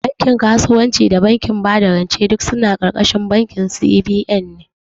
Bankin kasuwanci da bankin bada rance duk suna ƙarƙashin bankin C.B.N ne